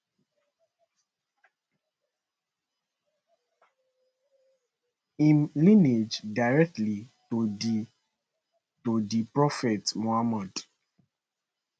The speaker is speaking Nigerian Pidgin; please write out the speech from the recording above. im lineage directly to di to di prophet muhammad